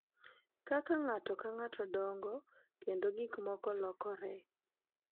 Kaka ng’ato ka ng’ato dongo kendo gik moko lokore,